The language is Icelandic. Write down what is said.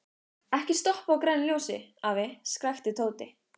Ekki stoppa á grænu ljósi, afi! skrækti Tóti.